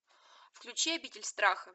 включи обитель страха